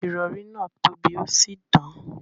Irọ̀rì náa tó bí osì dán.